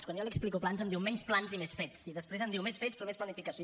quan jo li explico plans em diu menys plans i més fets i després em diu menys fets però més planificació